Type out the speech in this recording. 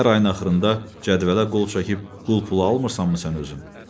Hər ayın axırında cədvələ qol çəkib qul pulu almırsanmı sən özün?